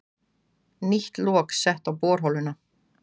Nýtt lok sett á borholuna